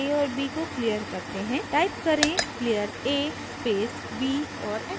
type करें clear a space b और enter दबाएं